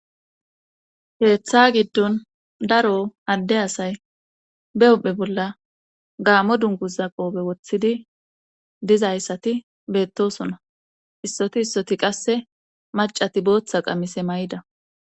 Keeththa giddon daro adde asay be hophe bolla gaamo dunguza qoobe woththidi dizayssati beettosona issoti issoti qasse macati booththa qamise may7ida